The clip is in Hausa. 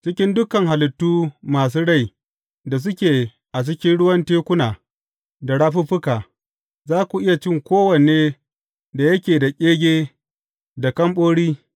Cikin dukan halittu masu rai da suke a cikin ruwan tekuna da rafuffuka, za ku iya cin kowane da yake da ƙege da kamɓori.